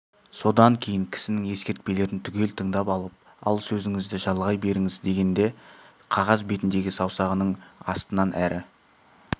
содан кейін кісінің ескертпелерін түгел тыңдап алып ал сөзіңізді жалғай беріңіз дегенде қағаз бетіндегі саусағының астынан әрі